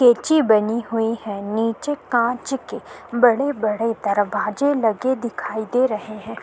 केची बनी हुई है नीचे कांच के बड़े-बड़े दरवाजे लगे दिखाई दे रहे हैं।